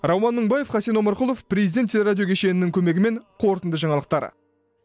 рауан мыңбаев хасен омарқұлов президент телерадио кешенінің көмегімен қорытынды жаңалықтар